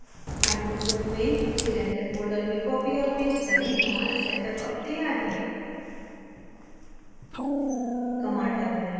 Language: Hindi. इस file को icofoam में cylinder folder में copy और paste करें हमारा setup अब तैयार है